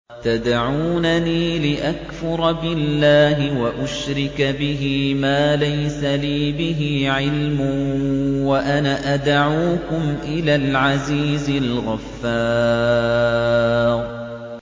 تَدْعُونَنِي لِأَكْفُرَ بِاللَّهِ وَأُشْرِكَ بِهِ مَا لَيْسَ لِي بِهِ عِلْمٌ وَأَنَا أَدْعُوكُمْ إِلَى الْعَزِيزِ الْغَفَّارِ